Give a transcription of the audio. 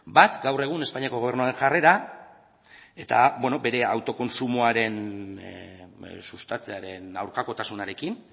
bat gaur egun espainiako gobernuaren jarrera eta bere autokontsumoa sustatzearen aurkakotasunarekin